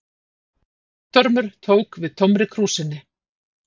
Guttormur tók við tómri krúsinni.